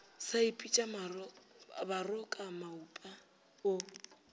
sa ipitša baroka maupa o